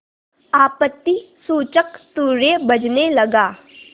आपत्तिसूचक तूर्य बजने लगा